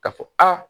Ka fɔ a